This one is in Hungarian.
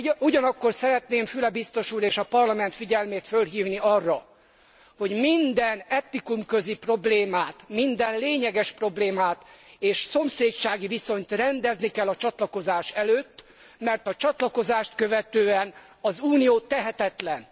Ugyanakkor szeretném Füle biztos úr és a Parlament figyelmét fölhívni arra, hogy minden etnikumközi problémát, minden lényeges problémát és szomszédsági viszonyt rendezni kell a csatlakozás előtt, mert a csatlakozást követően az Unió tehetetlen.